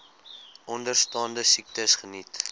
onderstaande siektes geniet